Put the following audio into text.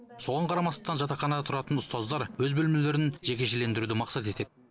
соған қарамастан жатақханада тұратын ұстаздар өз бөлмелерін жекешелендіруді мақсат етеді